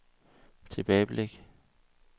tilbageblik